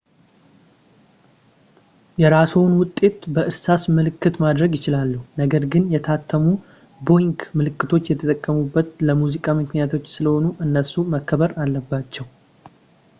የራስዎን ውጤት በእርሳስ ምልክት ማድረግ ይችላሉ ነገር ግን የታተሙ ቦዊንግ ምልክቶች የተቀመጡት ለሙዚቃ ምክንያቶች ስለሆነም እነሱ መከበር አለባቸው